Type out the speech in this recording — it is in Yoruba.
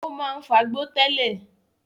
O máa ń fagbó tẹ́lẹ̀